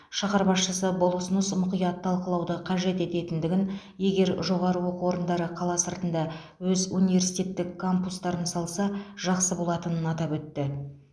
шаһар басшысы бұл ұсыныс мұқият талқылауды қажет ететіндігін егер жоғары оқу орындары қала сыртында өз университеттік кампустарын салса жақсы болатынын атап өтті